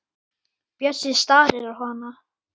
Bjössi starir á hana.